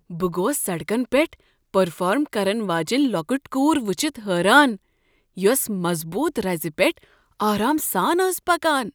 بہٕ گوس سڑکن پیٹھ پرفارم کرن واجیٚنۍ لۄکٕٹ کور ؤچھتھ حٲران یس مظبوط رزِ پیٹھ آرام سان ٲس پکان ۔